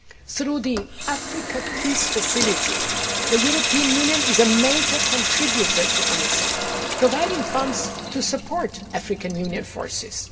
Through the Africa Peace Facility, the European Union is a major contributor to AMISOM, providing funds to support African Union forces.